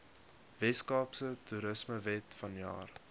weskaapse toerismewet vanjaar